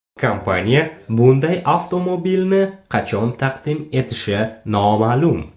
Kompaniya bunday avtomobilni qachon taqdim etishi noma’lum.